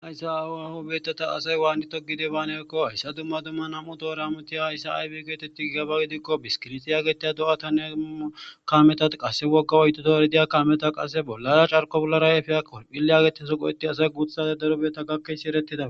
Ayssa aawaho beettata asay waannito gide baanekko hessa dumma dumma nam7u toramutiya hayssa aybi geetetti gaba gidikko biskirixiya getiya do7ata neu kameta qasse wogga oytuto eridiya kaameta qase bollada carko bollarayefeha korphille agete soqu etti asay guuthate daro beeta gakkesi erettida